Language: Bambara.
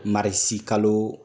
Marisikalo